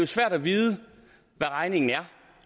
svært at vide hvad regningen er